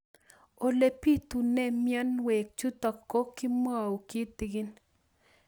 Ole pitune mionwek chutok ko kimwau kitig'ín